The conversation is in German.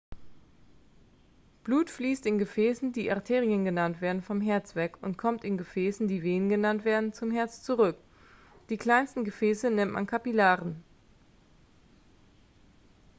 blut fließt in gefäßen die arterien genannt werden vom herz weg und kommt in gefäßen die venen genannt werden zum herz zurück die kleinsten gefäße nennt man kapillaren